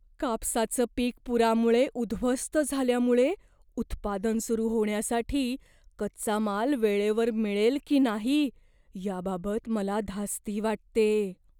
कापसाचं पीक पुरामुळे उद्ध्वस्त झाल्यामुळे उत्पादन सुरू होण्यासाठी कच्चा माल वेळेवर मिळेल की नाही याबाबत मला धास्ती वाटतेय.